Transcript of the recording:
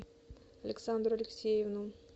александру алексеевну